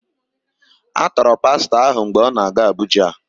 A tọọrọ Pastọ ahụ mgbe ọ na-aga Abuja